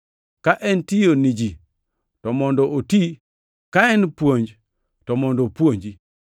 Ka en tiyo ni ji, to mondo oti, ka en puonj, to mondo opuonji.